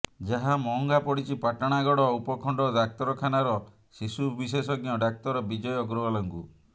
ଯାହା ମହଙ୍ଗା ପଡ଼ିଛି ପାଟଣାଗଡ଼ ଉପଖଣ୍ଡ ଡାକ୍ତରଖାନାର ଶିଶୁ ବିଶେଷଜ୍ଞ ଡାକ୍ତର ବିଜୟ ଅଗ୍ରଓ୍ୱାଲଙ୍କୁ